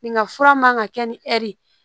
Nin ka fura man ka kɛ ni ɛri ye